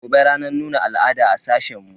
Gobe ranar nuna al'ada a sashen mu.